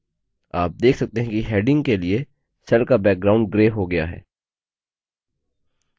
आप देख सकते हैं कि headings के लिए cell का background grey हो गया है